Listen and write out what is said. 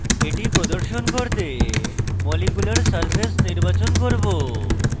এটি প্রদর্শন করতে molecular surface নির্বাচন করব